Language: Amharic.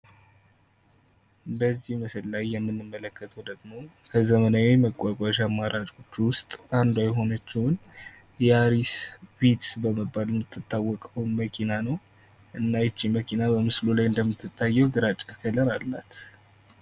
በዚህ ምስል ላይ የምንመለክተው ደግሞ በዘመናዊ መጓጓዣ አማራጮች ውስጥ አንዷ የሆነችዎን የአሪስ ቪትዝ በመባል የምትታወቀውን መኪና ነው። እና ይች መኪና በምስሉ ላይ እንደምትታየው ግራጫ ከለር አላት።